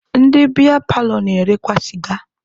Ndị biya paalọ na-erekwa sịga.